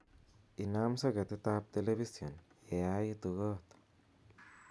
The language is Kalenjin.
inaam soketit ab telepision yeaitu koot